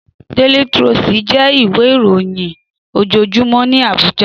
Déli Tròstí jè iwé iróyìn ójójúmò ni Abuja